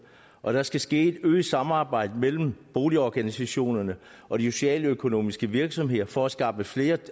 og der skal ske et øget samarbejde mellem boligorganisationerne og de socialøkonomiske virksomheder for at skaffe flere